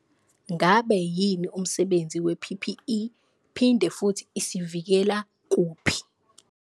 Ngabe yini umsebenzi we-P_P_E, phinde futhi isivikela kuphi?